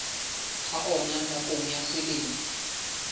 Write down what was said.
ha ona nakong ya selemo